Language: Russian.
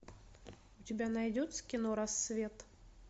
у тебя найдется кино рассвет